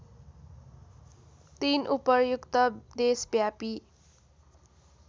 ३ उपर्युक्त देशव्यापी